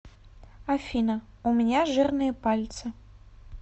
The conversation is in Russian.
афина у меня жирные пальцы